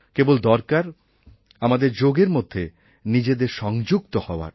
কেবল দরকার আমাদের যোগের মধ্যে নিজেদের সংযুক্ত হওয়ার